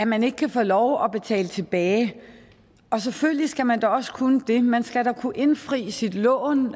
man ikke kan få lov at betale tilbage selvfølgelig skal man da også kunne det man skal da kunne indfri sit lån